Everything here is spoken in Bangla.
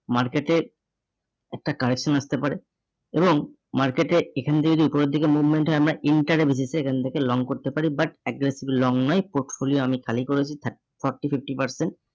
market এ একটা correction আসতে পারে এবং market এ এখান দিয়ে যদি উপরের দিকে movement হয় আমরা inter এ basis এ এখান থেকে long করতে পারি but addressable long নয়, portfolio আমি খালি করেছি thirty, Forty, fifty percent